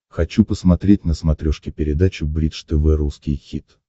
хочу посмотреть на смотрешке передачу бридж тв русский хит